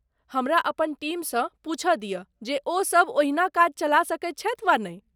हमरा अपन टीमसँ पूछय दियऽ जे ओ सभ ओहिना काज चला सकैत छथि वा नहि।